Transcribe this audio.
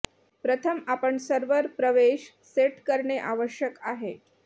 प्रथम आपण सर्व्हर प्रवेश सेट करणे आवश्यक आहे